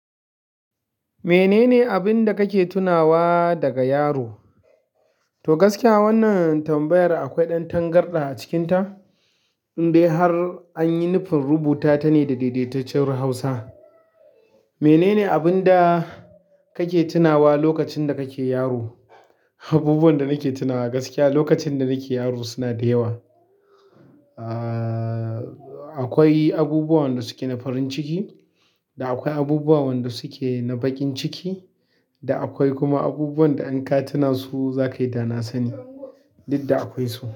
Menene abin da kake tunawa daga yaro? To gaskiya wannan tambayar akwai ɗan tangarɗa a cikinta, indai har an yi nufin rubuta tana da daidaitaccen Hausa. Menene abin da kake tunawa lokacin da kake yaro? Abubuwan da nake tunawa gaskiya lokacin da nake yaro suna da yawa. Ah, akwai abubuwan wanda suke na farin ciki da akwai abubuwan wanda suke na baƙin ciki da akwai kuma abubuwan da in ka tuna su za ka yi dana sani, duk da akwai su.